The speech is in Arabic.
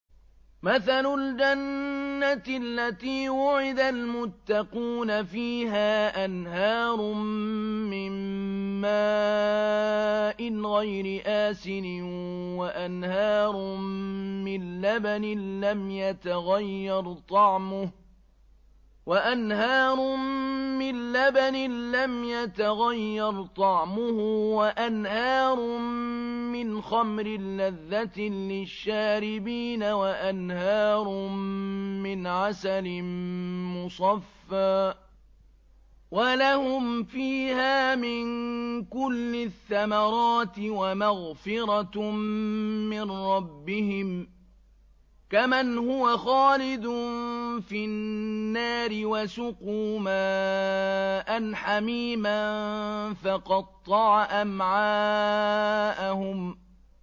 مَّثَلُ الْجَنَّةِ الَّتِي وُعِدَ الْمُتَّقُونَ ۖ فِيهَا أَنْهَارٌ مِّن مَّاءٍ غَيْرِ آسِنٍ وَأَنْهَارٌ مِّن لَّبَنٍ لَّمْ يَتَغَيَّرْ طَعْمُهُ وَأَنْهَارٌ مِّنْ خَمْرٍ لَّذَّةٍ لِّلشَّارِبِينَ وَأَنْهَارٌ مِّنْ عَسَلٍ مُّصَفًّى ۖ وَلَهُمْ فِيهَا مِن كُلِّ الثَّمَرَاتِ وَمَغْفِرَةٌ مِّن رَّبِّهِمْ ۖ كَمَنْ هُوَ خَالِدٌ فِي النَّارِ وَسُقُوا مَاءً حَمِيمًا فَقَطَّعَ أَمْعَاءَهُمْ